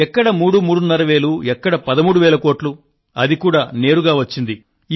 ఎక్కడ మూడు మూడున్నర వేలు ఎక్కడ 13 వేల కోట్లు అది కూడా నేరుగా వచ్చింది